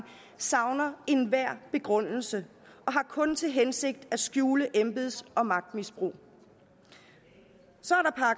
savner enhver begrundelse og har kun til hensigt at skjule embeds og magtmisbrug så